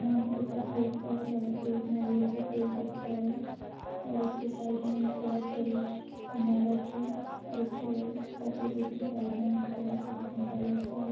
आसमान का ऊपर का हिस्सा है जहाँ पे एक नारियल का पेड़ दिख रहा है और उसके साइड में एक बहोत बड़ी ईमारत है और उसके अपोजिट साइड में एक बहुत बड़ी खम्बा जैसा है।